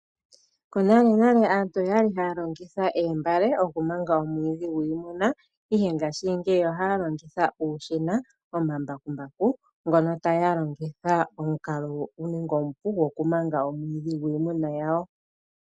Konalenale aantu oya li haya longitha oombale okumanga omwiidhi gwiimuna, ihe ngaashingeyi ohaya longitha uushina nomambakumbaku ngono taya longitha omukalo omupu gokumanga omwiidhi gwiimuna yawo.